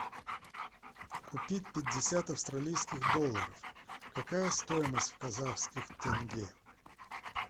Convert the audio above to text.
купить пятьдесят австралийских долларов какая стоимость в казахских тенге